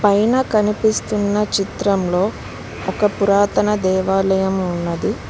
పైన కనిపిస్తున్న చిత్రంలో ఒక పురాతన దేవాలము ఉన్నది.